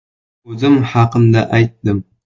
O‘zim haqimda aytdim.